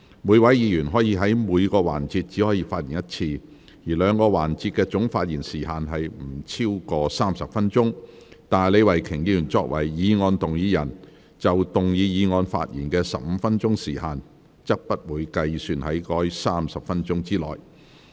每位議員在每個環節只可發言一次，兩個環節的總發言時限不得超過30分鐘，但李慧琼議員作為議案動議人，就動議議案發言的15分鐘時限，則不計算在該30分鐘之內。